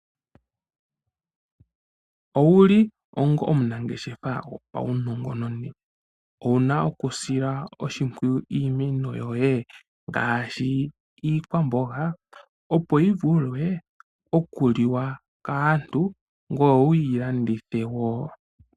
Owuli onga omunangeshefa go paunongononi, owuna okusila oshimpwiyu iimeno yoye ngaashi iikwamboga, opo yi vule okuliwa kaantu ngweye wu yi landitha po woo.